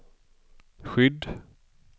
skydd